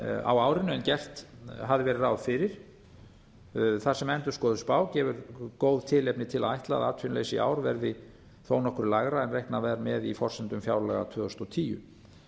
á árinu en gert hafði verið ráð fyrir þar sem endurskoðuð spá gefur góð tilefni til að ætla að atvinnuleysi í ár verði nokkru lægra en reiknað var með í forsendum fjárlaga tvö þúsund og tíu